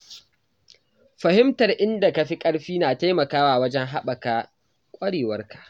Fahimtar inda ka fi ƙarfi na taimakawa wajen haɓaka ƙwarewarka.